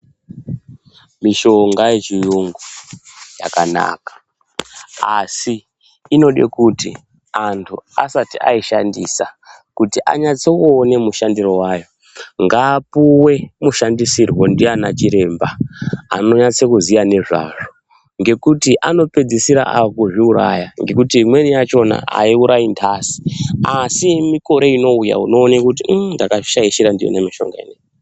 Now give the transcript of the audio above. Mishonga yechiyungu yakanaka ,asi inode kuti anthu asati aishandisa kuti anyatsokuone mushandire wayo ngaapuwe mushandisirwe ndiana chiremba, anonyatsokuziya nezvazvo ngekuti anopedzisira akuzviuraya ngekuti imweni yachona aiurayi nthasi asi mikore inouya unoone kuti ummm ndakazvishaishira ndiyona mishongaiyi.